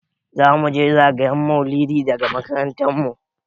Za muje zagayen maulidi daga makarantar mu.